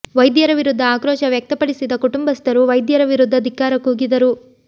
ವೈದ್ಯರ ವಿರುದ್ದ ಆಕ್ರೋಶ ವ್ಯಕ್ತಪಡಿಸಿದ ಕುಟುಂಬಸ್ಥರು ವೈದ್ಯರ ವಿರುದ್ದ ದಿಕ್ಕಾರ ಕೂಗಿದರು